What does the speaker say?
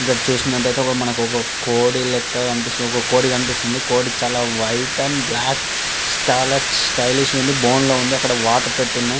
ఇక్కడ చూసినట్టైతే ఒక మనకు ఒక కోడి లెక్క కనిపిస్తుంది ఒక కోడి కనిపిస్తుంది కోడి చాలా వైట్ అండ్ బ్లాక్ చాలా స్టైలిష్ గా ఉంది. బోన్ లో ఉంది అక్కడ వాటర్ పెట్టి ఉన్నాయి.